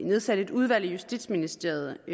nedsat et udvalg i justitsministeriet